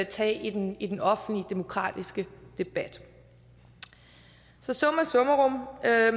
tage i den i den offentlige demokratiske debat så summa summarum jeg